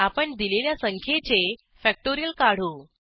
आपण दिलेल्या संख्येचे फॅक्टोरियल काढू